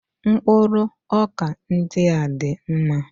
Mkpụrụ ọkà ndị a dị mma